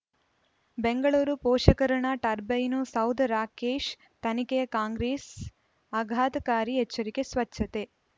ಬೆಂಗಳೂರು ಪೋಷಕರಋಣ ಟರ್ಬೈನು ಸೌಧ ರಾಕೇಶ್ ತನಿಖೆಗೆ ಕಾಂಗ್ರೆಸ್ ಆಘಾತಕಾರಿ ಎಚ್ಚರಿಕೆ ಸ್ವಚ್ಛತೆ